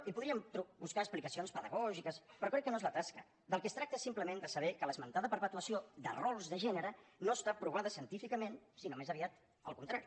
hi podríem buscar explicacions pedagògiques però crec que no és la tasca del que es tracta és simplement de saber que l’esmentada perpetuació de rols de gènere no està provada científicament sinó més aviat al contrari